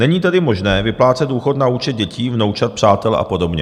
Není tedy možné vyplácet důchod na účet dětí, vnoučat, přátel a podobně.